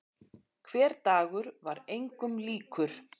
Hver dagur var engum líkur.